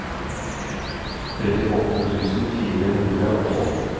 trettiåtte tusen fire hundre og tolv